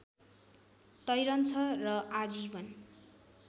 तैरन्छ र आजीवन